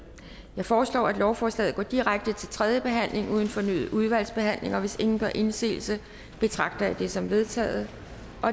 jeg foreslår at lovforslaget går direkte til tredje behandling uden fornyet udvalgsbehandling hvis ingen gør indsigelse betragter jeg det som vedtaget